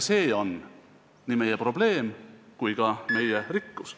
See on nii meie probleem kui ka meie rikkus.